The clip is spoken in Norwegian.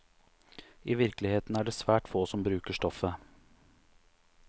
I virkeligheten er det svært få som bruker stoffet.